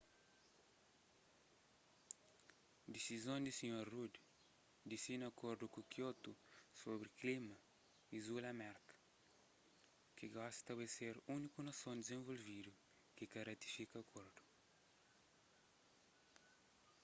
disizon di sr rudd di sina akordu di kiotu sobri klima izula merka ki gosi ta bai ser úniku nason dizenvolvidu ki ka ratifika akordu